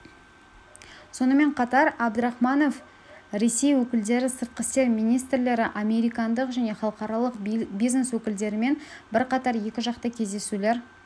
сонымен қатар әбдірахманов ресми өкілдері сыртқы істер министрлері американдық және халықаралық бизнес өкілдерімен бірқатар екіжақты кездесулер